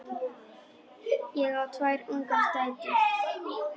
Ég á tvær ungar dætur.